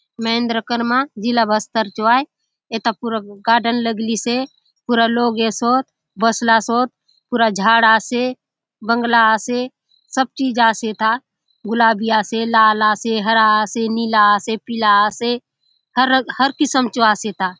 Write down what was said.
महेन्द्र कर्मा जिला बस्तर चो आय एथा पूरा गार्डन लगलिसे पूरा लोक ऐ सोत बसला सोत पूरा झाड़ आसे बंगला आसे सब चीज आसे एथा गुलाबी आसे लाल आसे हरा आसे नीला आसे पीला आसे हरंग हर किस्म चो आसे एथा --